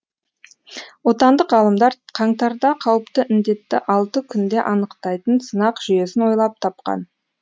отандық ғалымдар қаңтарда қауіпті індетті алты күнде анықтайтын сынақ жүйесін ойлап тапқан